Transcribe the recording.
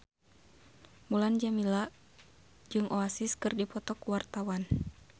Mulan Jameela jeung Oasis keur dipoto ku wartawan